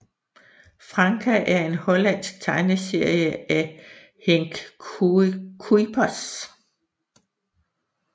Franka er en hollandsk tegneserie af Henk Kuijpers